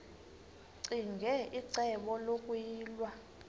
ccinge icebo lokuyilwa